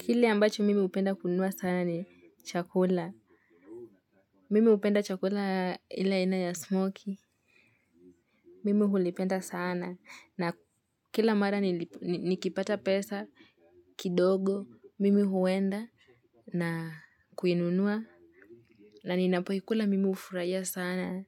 Kile ambacho mimi hupenda kununua sana ni chakula. Mimi hupenda chakula ile aina ya smokie. Mimi hulipenda sana. Na kila mara nikipata pesa, kidogo. Mimi huenda na kuinunua. Na ninapokikula mimi hufurahia sana.